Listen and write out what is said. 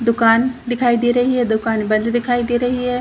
दुकान दिखाई दे रही है दुकान बंद दिखाई दे रही है।